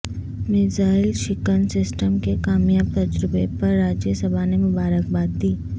missile شکن system کے کامیاب تجربہ پر راجیہ سبھا نے مبارک باد دی